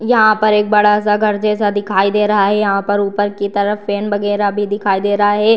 यहाँ पर एक बड़ा सा घर जैसा दिखाई रहा है यहाँ पर ऊपर की तरफ फैन वगेरह भी दिखाई दे रहा है।